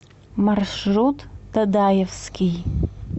маршрут дадаевский